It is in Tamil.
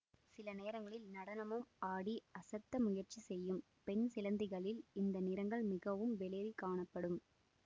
சில நேரங்களில் நடனமும் ஆடி அசத்த முயற்சி செய்யும் பெண் சிலந்திகளில் இந்த நிறங்கள் மிகவும் வெளிறிக் காணப்படும்